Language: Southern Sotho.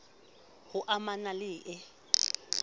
h o amana le e